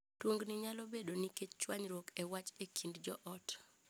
Tungni nyalo bedo nikech chwanyruok e wach e kind joot.